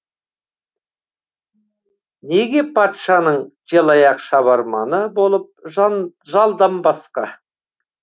неге патшаның желаяқ шабарманы болып жалданбасқа